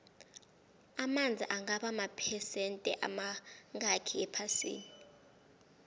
amanzi angaba maphesende amangakhi ephasini